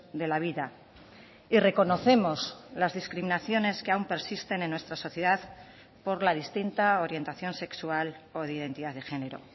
de la vida y reconocemos las discriminaciones que aún persisten en nuestra sociedad por la distinta orientación sexual o de identidad de género